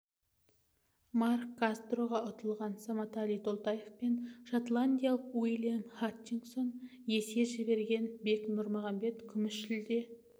марк кастроға ұтылған саматали толтаев пен шотландиялық уильям хатчинсонға есе жіберген бек нұрмағанбет күміс жүлде